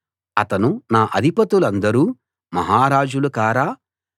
అతను నా అధిపతులందరూ మహారాజులు కారా